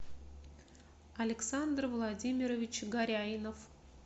александр владимирович горяинов